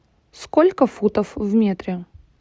сколько футов в метре